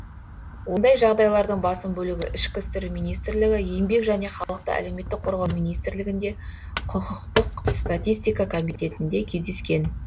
ондай жағдайлардың басым бөлігі ішкі істер министрлігі еңбек және халықты әлеуметтік қорғау министрлігінде құқықтық статистика комитетінде кездескен